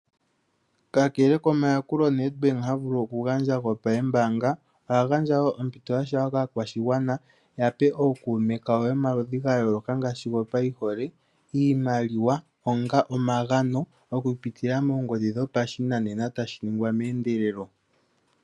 Kakele komayakulo Nedbank ha vulu okugandja gopambaanga oha gandja wo ompito ya shewa kaakwashigwana yape ookuume kawo yomaludhi gayooloka ngaashi gopayihole, iimaliwa onga omagano okupitila moongodhi dhopashinanena tashi ningwa meendelelo.